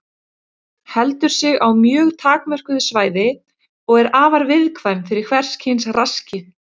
Heldur sig á mjög takmörkuðu svæði og er afar viðkvæm fyrir hvers kyns raski.